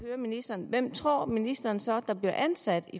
høre ministeren hvem tror ministeren så der bliver ansat